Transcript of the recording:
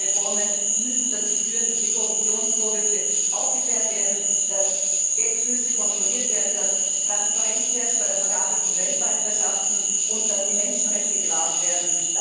Und solche Reformen müssen dazu führen, dass die Korruptionsvorwürfe aufgeklärt werden, dass Geldflüsse kontrolliert werden, dass Transparenz herrscht bei der Vergabe von Weltmeisterschaften und dass die Menschenrechte gewahrt werden.